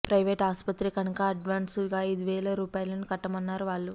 private ఆస్పత్రి కనుక అడ్వాన్స్గా ఐదు వేల రూపాయలు కట్టమన్నారు వాళ్లు